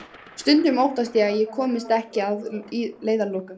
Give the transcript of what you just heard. Stundum óttast ég að ég komist ekki að leiðarlokum.